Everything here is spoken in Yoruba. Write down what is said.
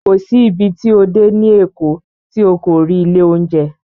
Kò sí ibi tí o dé ní Èkó tí o kò rí ilé oúnjẹ